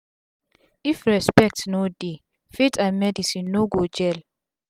if respect no dey faith and medicine no go gel